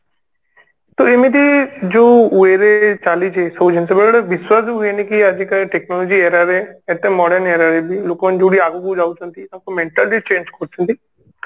ତ ଏମିତି ଯାଉ way ରେ ଚାଲିଛି ଯୋଉ ସବୁ ଜିନିଷ ବେଳବେଳେ ବିଶ୍ବାସ ବି ହୁଏନି କି ଆଜିକାଲି technology era ରେ ଏତେ modern era ରେ ବି ଲୋକମାନେ ଯୋଉଠି ଆଗକୁ ଯାଉଛନ୍ତି ତାଙ୍କୁ mentally change କରୁଛନ୍ତି